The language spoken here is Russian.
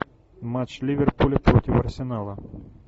матч ливерпуля против арсенала